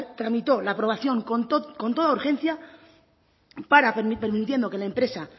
tramitó la aprobación con toda urgencia permitiendo que la empresa